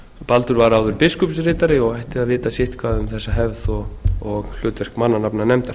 baldur var áður biskupsritari og ætti að vita sitthvað um þessa hefð og hlutverk mannanafnanefndar